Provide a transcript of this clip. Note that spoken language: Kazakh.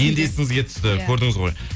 енді есіңізге түсті көрдіңіз ғой